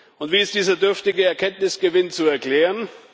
Und wie ist dieser dürftige Erkenntnisgewinn zu erklären?